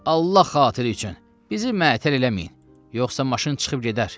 Allah xatiri üçün bizi məətəl eləməyin, yoxsa maşın çıxıb gedər.